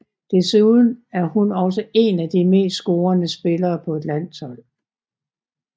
Desuden er hun også én af de mest scorende spillere på et landshold